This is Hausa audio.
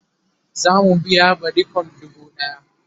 zamu biya badikon dubu ɗaya